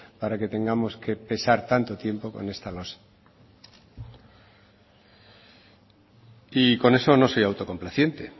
para que tengamos que pesar tanto tiempo con esta losa y con eso no soy autocomplaciente